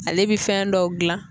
Ale bɛ fɛn dɔw gilan